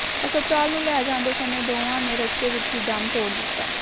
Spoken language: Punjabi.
ਹਸਪਤਾਲ ਲੈ ਜਾਂਦੇ ਸਮੇਂ ਦੋਵਾਂ ਨੇ ਰਸਤੇ ਵਿੱਚ ਹੀ ਦਮ ਤੋੜ ਦਿੱਤਾ